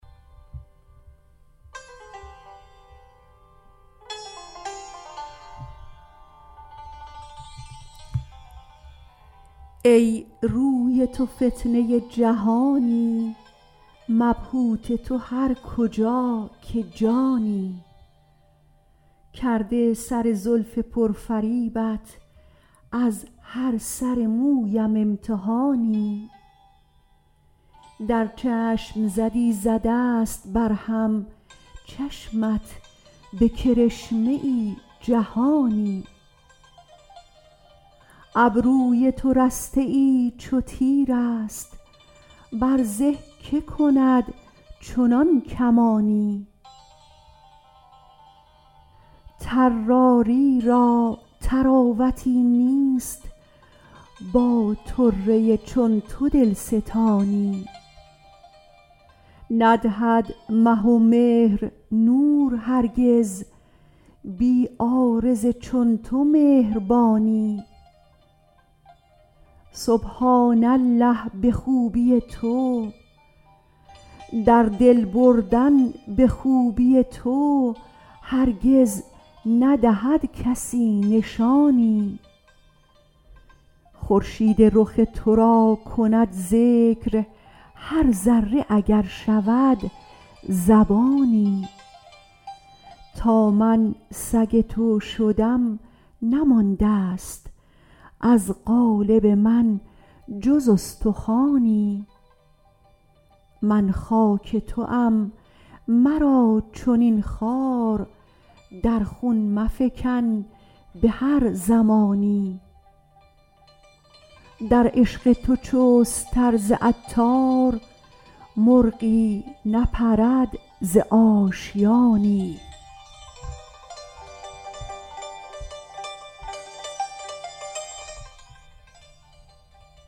ای روی تو فتنه جهانی مبهوت تو هر کجا که جانی کرده سر زلف پر فریبت از هر سر مویم امتحانی در چشم زدی ز دست بر هم چشمت به کرشمه ای جهانی ابروی تو رستها چو تیراست بر زه که کند چنان کمانی طراری را طراوتی نیست با طره چون تو دلستانی ندهد مه و مهر نور هرگز بی عارض چون تو مهربانی در دل بردن به خوبی تو هرگز ندهد کسی نشانی خورشید رخ تو را کند ذکر هر ذره اگر شود زبانی تا من سگ تو شدم نماندست از قالب من جز استخوانی من خاک توام مرا چنین خوار در خون مفکن به هر زمانی در عشق تو چست تر ز عطار مرغی نپرد ز آشیانی